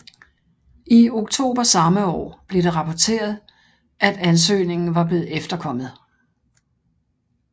I oktober samme år blev det rapportet at ansøgningen var blevet efterkommet